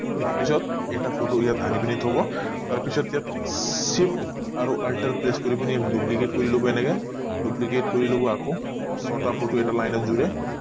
তাৰ পিছত এটা photo ইয়াত আনি পিনি থব তাৰ পিছত ইয়াত shift আৰু alt press কৰি পিনি duplicate কৰি লব এনেকে duplicate কৰি লব আকৌ ছটা photo এটা লাইনত যোৰে